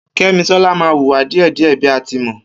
Kemisola ma wùwà dìẹ̀dìẹ̀ bí a tí mọ